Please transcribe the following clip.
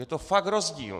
Je to fakt rozdíl!